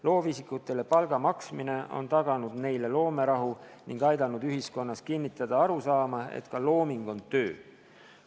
Loovisikutele palga maksmine on taganud neile loomerahu ning aidanud ühiskonnas kinnistada arusaama, et ka looming on töö.